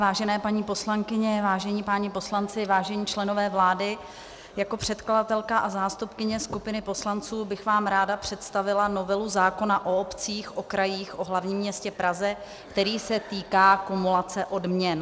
Vážené paní poslankyně, vážení páni poslanci, vážení členové vlády, jako předkladatelka a zástupkyně skupiny poslanců bych vám ráda představila novelu zákona o obcích, o krajích, o hlavním městě Praze, který se týká kumulace odměn.